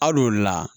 Al'o la